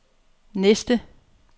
næste